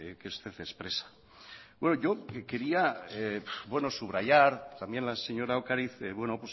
que usted expresa yo quería subrayar también la señora ocariz bueno